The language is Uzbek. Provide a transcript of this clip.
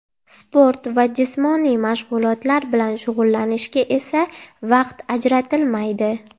Sport va jismoniy mashg‘ulotlar bilan shug‘ullanishga esa vaqt ajratilmaydi.